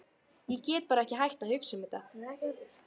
Ég get bara ekki hætt að hugsa um þetta.